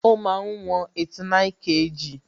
Ó máa ń wọn 89kg